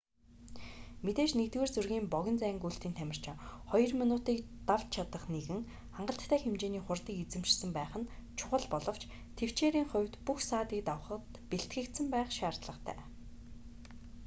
мэдээж нэгдүгээр зэргийн богино зайн гүйлтийн тамирчин хоёр минутыг давч чадах нэгэн хангалттай хэмжээний хурдыг эзэмшсэн байх нь чухал боловч тэвчээрийн хувьд бүх саадыг давахад бэлтгэгдсэн байх шаардлагатай